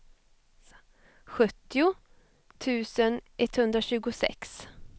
sjuttio tusen etthundratjugosex